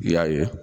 I y'a ye